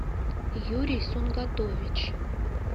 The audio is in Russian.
юрий сунгатович